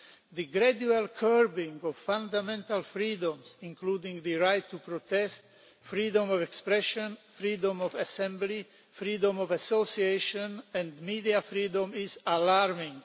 The gradual curbing of fundamental freedoms, including the right to protest, freedom of expression, freedom of assembly, freedom of association and media freedoms is alarming.